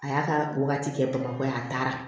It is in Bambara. A y'a ka wagati kɛ bamakɔ yan a taara